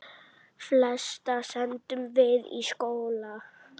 Flesta sendum við í skóla.